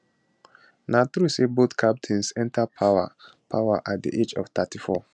na true say both captains enta power power at di age of 34